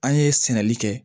An ye sɛnɛli kɛ